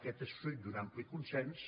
aquest és fruit d’un ampli consens